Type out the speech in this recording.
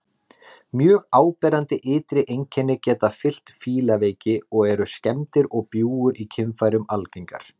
Mjög áberandi ytri einkenni geta fylgt fílaveiki og eru skemmdir og bjúgur í kynfærum algengar.